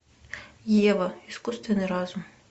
ева искусственный разум